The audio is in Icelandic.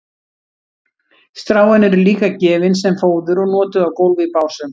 stráin eru líka gefin sem fóður og notuð á gólf í básum